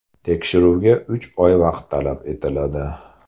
Tekshiruvga uch oy vaqt talab etiladi.